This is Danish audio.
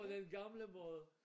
På den gamle måde